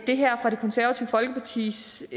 det her fra det konservative folkepartis